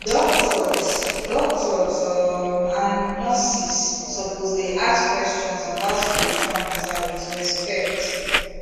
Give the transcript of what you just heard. doctors doctors um and nurses suppose dey ask questions about spiritual matter with respect